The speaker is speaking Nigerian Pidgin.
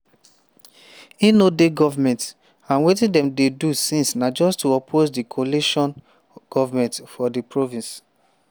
"e no dey goment and wetin dem dey do since na just to oppose di coalition goment for di province.